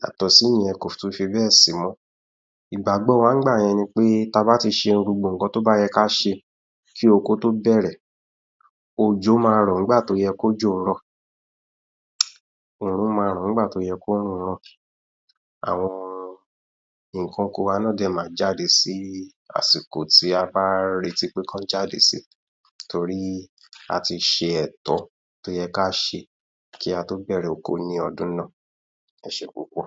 yàtọ̀ sí ìyẹn kò tún fi bẹ̀ sí mọ́, ìgbàgbọ́ wa nígbà yẹn ni pé tí a bá ti ṣe gbogbo nǹkan tí ó yẹ kí a ṣe kí oko tó bẹ̀rẹ̀ òjò ma rọ̀ nígbà tí ó yẹ kí òjò rọ̀ oòrùn ma ràn nígbà tí ó yẹ kí oòrùn ràn àwọn nǹkan oko wa náà ma jáde sí àsìkò tí a bàa ń retí pé kí wọ́n jáde si torí a ti ṣe ẹ̀tọ́ tí ó yẹ kí a ṣe kí a tó bẹ̀rẹ̀ oko ní ọdún náà. Ẹ ṣé púpọ̀